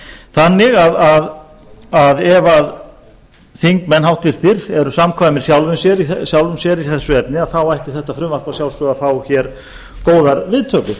þannig að ef þingmenn háttvirtur eru samkvæmir sjálfum sér í eru efni að þá ætti þetta frumvarp að sjálfsögðu að fá hér góðar viðtökur